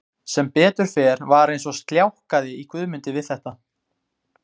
Sem betur fer var eins og sljákkaði í Guðmundi við þetta.